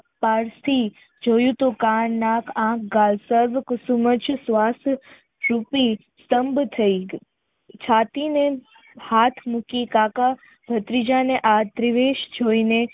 pass થી જોયું તો કાન નાક આંખ ગાલ પર પગ સબ તંગ થઈ છાતી ને હાથ મૂકી કાકા ભત્રીજાને આ ત્રીવેશ જોઈને